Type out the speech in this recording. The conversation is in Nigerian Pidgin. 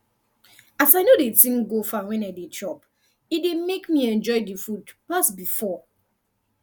as i no de think go far when i dey chop e dey make me enjoy the food pass before